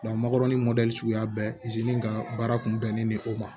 makɔrɔni suguya bɛɛ ka baara kun bɛnnen bɛ o ma